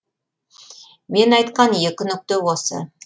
мен айтқан екі нүкте осы